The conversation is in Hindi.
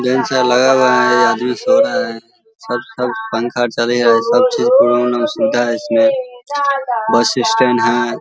लेंस आर लगा हुआ है ये आदमी सो रहा है सब सब पंख चल रहा है सब चीज सुविधा है इसमें बस स्टैंड है ।